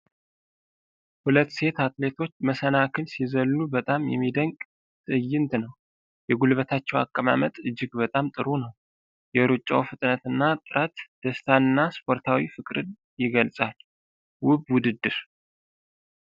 ሁለት ሴት አትሌቶች መሰናክል ሲዘሉ በጣም የሚደንቅ ትዕይንት ነው። የጉልበታቸው አቀማመጥ እጅግ በጣም ጥሩ ነው። የሩጫው ፍጥነት እና ጥረት ደስታን እና ስፖርታዊ ፍቅርን የገልጻል። ውብ ውድድር!